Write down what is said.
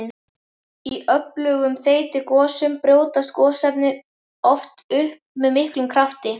Í öflugum þeytigosum brjótast gosefnin oft upp með miklum krafti.